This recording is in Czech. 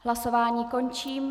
Hlasování končím.